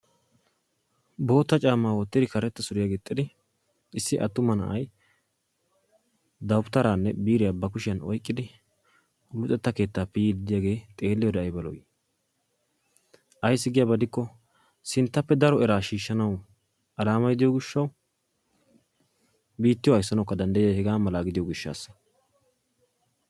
Bootta caammaa woottidi karetta suriyaa giixxidi issi attuma na'ay dawutaraanne biiriyaa ba kuushshiyaan oyqqidi luxetta keettaappe yiidi de'iyaage xeelliyoode ayba lo"ii! Ayssi giyaaba gidikko sinttappe daro eraa shiishanawu alamay de'iyoo giishshawu biittiyooka ayssanawu danddayiyaage hegaa malaa gidiyoo giishshawu